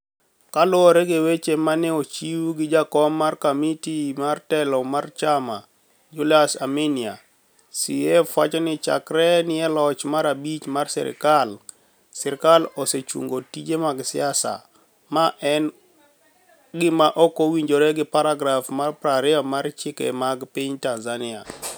Kaluwore gi weche ma ni e ochiw gi jakom mar komiti mar telo mar chama, Julius Aminia, CUF nowacho nii chakre ni e loch mar abich mar sirkal, sirkal osechunigo tije mag siasa, ma eni gima ok owinijore gi paragraf mar 20 mar chike mag piniy Tanizaniia.